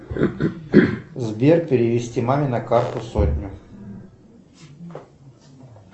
сбер перевести маме на карту сотню